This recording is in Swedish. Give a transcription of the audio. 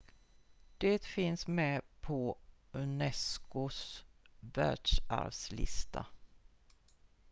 de finns med på unesco:s världsarvslista